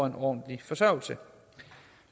en ordentlig forsørgelse